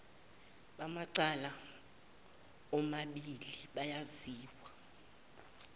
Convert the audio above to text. bamacala omabili bayabizwa